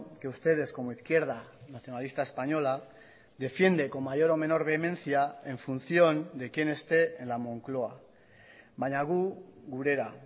que ustedes como izquierda nacionalista española defiende con mayor o menor vehemencia en función de quién esté en la moncloa baina gu gurera